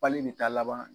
Pali in bɛ taa laban